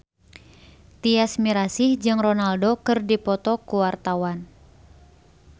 Tyas Mirasih jeung Ronaldo keur dipoto ku wartawan